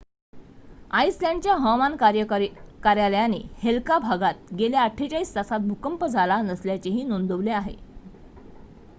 आइसलँडच्या हवामान कार्यालयाने हेल्का भागात गेल्या ४८ तासांत भूकंप झाला नसल्याचेही नोंदवले आहे